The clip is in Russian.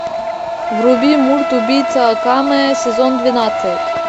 вруби мульт убийца акаме сезон двенадцать